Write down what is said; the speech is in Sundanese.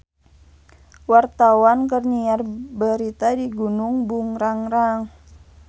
Wartawan keur nyiar berita di Gunung Burangrang